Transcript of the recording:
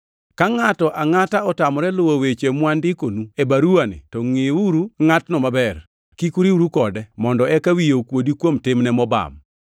Ka ngʼato angʼata otamore luwo weche mawandikonu e baruwani to ngʼiuru ngʼatno maber. Kik uriwru kode, mondo eka wiye okuodi kuom timne mobam.